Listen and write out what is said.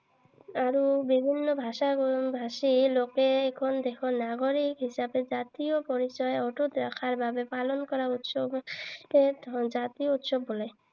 আৰু বিভিন্ন ভাষা ভাষী লোকে এইখন দেশৰ নাগৰিক হিচাপে জাতীয় পৰিচয় অটুত ৰখাৰ বাবে পালন কৰা উৎসৱকে জাতীয় উৎসৱ বোলে।